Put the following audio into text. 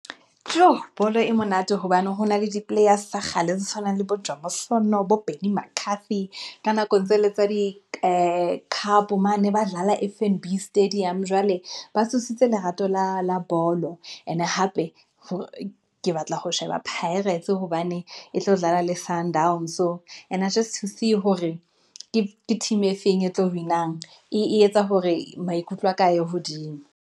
Tjo bolo e monate hobane ho na le di player's tsa kgale, tse tshwanang le bo Jomo Sono, bo Berny Mcarthy ka nakong tsele tsa di ee cup mane ba dlala F-N_B stadium, jwale ba tsusitse lerato la bolo. Ene hape ke batla ho sheba Pirates hobane e tlo dlala le Sundowns-o, and I just to see hore ke team-e, e feng e tlo win-ang. E etsa hore maikutlo a ka a ye hodimo.